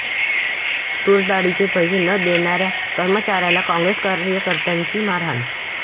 तुरडाळीचे पैसे न देणाऱ्या कर्मचाऱ्याला काँग्रेस कार्यकर्त्यांची मारहाण